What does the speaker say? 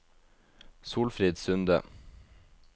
Solfrid Sunde